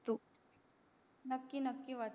नक्की नक्की वाचते